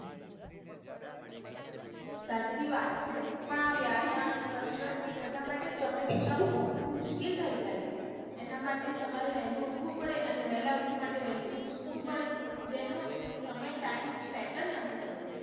સાચી વાત છે. પણ આ વ્યાયામ, કસરત અને એ બધા માટે સમય નીકળ વું બઉ જ મુશ્કિલ થઇ જાય છે. એના માટે સવારે વેહલું ઉઠવું પડે અને વેહલા ઉઠવા માટે વેહલું સૂવું પડે જેનું સમય time set જ નથી થતું.